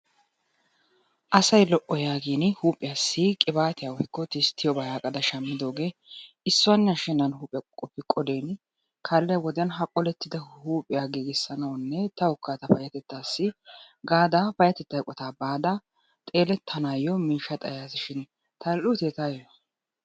Asay lo"o yaagiini huuphiyassi qibaatiya woyikko tisttiyobaa yaagada shammidoogee issuwanne ashennan huuphiya qoqopi qolin kaalliya wodiyan ha qolettida huuphiya giigisanawunne tawukka ta payatettassi gaada payatetta eqotaa baada xeelettanaayo miishshaa xayasi shin tal'uutee taayo?